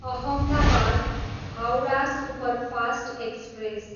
Ahmedabad, Howrah superfast express